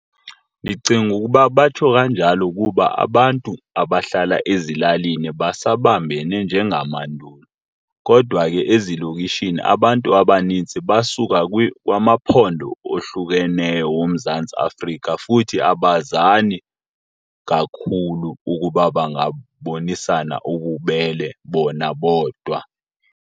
Ndicinga ukuba batsho kanjalo ukuba abantu abahlala ezilalini basabambene njengamandulo, kodwa ke ezilokishini abantu abanintsi basuka kwamaphondo ohlukeneyo woMzantsi Afrika futhi abazali kakhulu ukuba bangabonisana ububele bona bodwa.